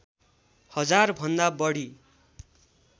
हजार भन्दा बढी